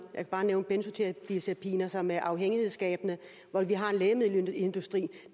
kan bare nævne benzodiazepiner som er afhængighedsskabende hvor vi har en lægemiddelindustri